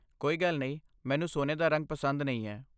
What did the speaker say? ਕੋਈ ਗੱਲ ਨਹੀਂ, ਮੈਨੂੰ ਸੋਨੇ ਦਾ ਰੰਗ ਪਸੰਦ ਨਹੀਂ ਹੈ।